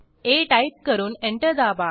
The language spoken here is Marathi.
आ टाईप करून एंटर दाबा